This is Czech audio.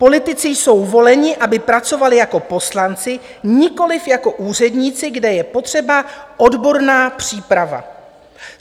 Politici jsou voleni, aby pracovali jako poslanci, nikoliv jako úředníci, kde je potřeba odborná příprava.